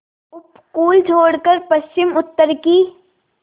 उपकूल छोड़कर पश्चिमउत्तर की